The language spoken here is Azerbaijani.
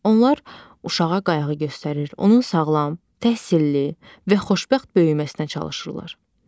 Onlar uşağa qayğı göstərir, onun sağlam, təhsilli və xoşbəxt böyüməsinə çalışırlar.